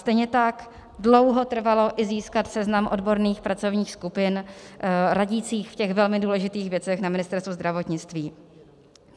Stejně tak dlouho trvalo i získat seznam odborných pracovních skupin radících v těch velmi důležitých věcech na Ministerstvu zdravotnictví.